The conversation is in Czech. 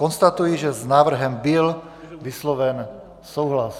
Konstatuji, že s návrhem byl vysloven souhlas.